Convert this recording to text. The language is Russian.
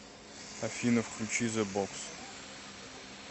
афина включи зе бокс